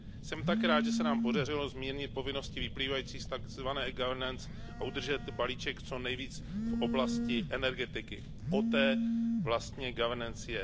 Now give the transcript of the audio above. Jsem také rád, že se nám podařilo zmírnit povinnosti vyplývajících z takzvané Governance a udržet balíček co nejvíce v oblasti energetiky o té vlastně Governance je.